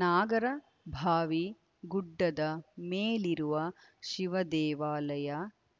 ನಾಗರಭಾವಿ ಗುಡ್ಡದ ಮೇಲಿರುವ ಶಿವದೇವಾಲಯ